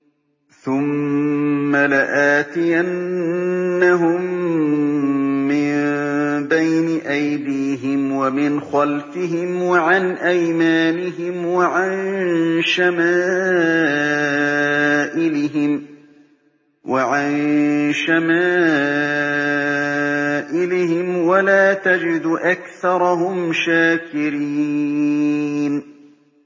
ثُمَّ لَآتِيَنَّهُم مِّن بَيْنِ أَيْدِيهِمْ وَمِنْ خَلْفِهِمْ وَعَنْ أَيْمَانِهِمْ وَعَن شَمَائِلِهِمْ ۖ وَلَا تَجِدُ أَكْثَرَهُمْ شَاكِرِينَ